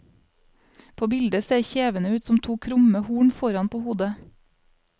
På bildet ser kjevene ut som to krumme horn foran på hodet.